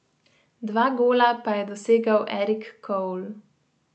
Dva gola pa je dosegel Erik Cole.